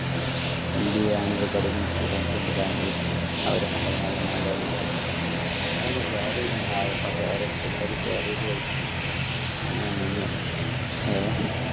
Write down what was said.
MBA അങ്ങനെ ഒക്കെ പഠിക്കുന്ന students ഇണ്ട് ബാംഗ്ലൂർ അവരൊക്കെ ഇണ്ടെനു നല്ല മലയാളീസ് അവരൊക്കെ share ചെയ്ത് തന്ന് അവര് food ഒക്കെ share ചെയ്ത് കഴിച് അങ്ങനെ നിന്ന് ഏഹ്